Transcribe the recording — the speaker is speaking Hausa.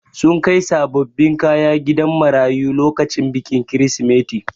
Sun kai sabobbin kaya gidan marayu lokacin bikin kirisimeti.